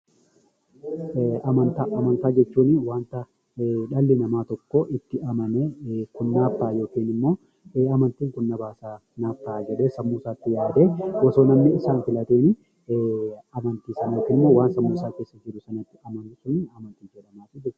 Amantaa Amantaa jechuun dhalli namaa tokko itti amanee kun naaf ta'a yookiin immoo kun na baasa, naaf ta'a jedhee sammuu isaatti yaadee, osoo namni isaaf hin filatini waan sammuu isaa keessa jiru sanatti amanu 'Amantii' jedhama.